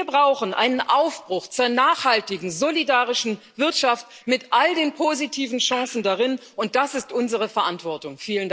Wir brauchen einen Aufbruch zur nachhaltigen, solidarischen Wirtschaft mit all den positiven Chancen darin, und das ist unsere Verantwortung.